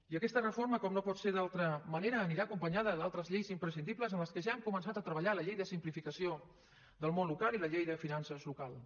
i aquesta reforma com no pot ser d’altra manera anirà acompanyada d’altres lleis imprescindibles en les quals ja hem començat a treballar la llei de simplificació del món local i la llei de finances locals